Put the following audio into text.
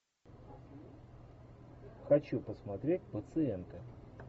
хочу посмотреть пациенты